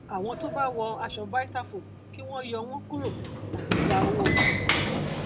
àwọn tó bá wọ aṣọ vitafoam kí wọn yọ wọn kúrò tàbí gba owó wọn